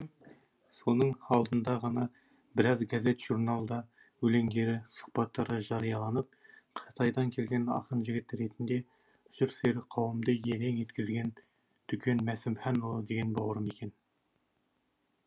соның алдында ғана біраз газет журналда өлеңдері сұхбаттары жарияланып қытайдан келген ақын жігіт ретінде жыр сүйер қауымды елең еткізген дүкен мәсімханұлы деген бауырым екен